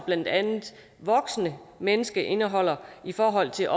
blandt andet voksne mennesker indeholder i forhold til